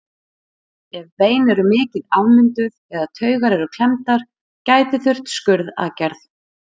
Ef bein eru mikið afmynduð eða taugar eru klemmdar gæti þurft skurðaðgerð.